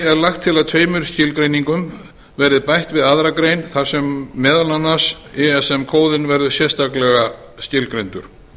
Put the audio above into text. er lagt til að tveimur skilgreiningum verði bætt við aðra grein þar sem meðal annars eða kóðinn verður sérstaklega skilgreindur